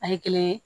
A ye kelen ye